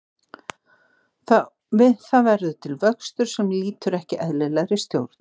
Við það verður til vöxtur sem lýtur ekki eðlilegri stjórn.